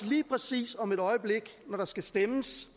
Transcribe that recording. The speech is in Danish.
lige præcis om et øjeblik når der skal stemmes